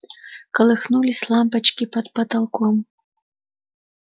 колыхнулись лампочки под потолком